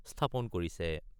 স্থাপন কৰিছে।